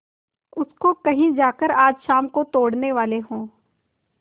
उसको कहीं जाकर आज शाम को तोड़ने वाले हों